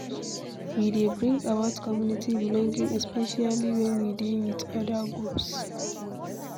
E dey bring about community belonging especially when we dey with oda groups